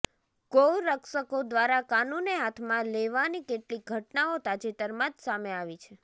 ગૌરક્ષકો દ્વારા કાનૂને હાથમાં લેવાની કેટલીક ઘટનાઓ તાજેતરમાં જ સામે આવી છે